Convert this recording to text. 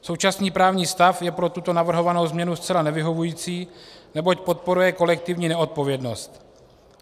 Současný právní stav je pro tuto navrhovanou změnu zcela nevyhovující, neboť podporuje kolektivní neodpovědnost.